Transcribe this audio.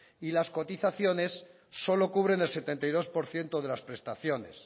y las cotizaciones solo cubren el setenta y dos por ciento de las prestaciones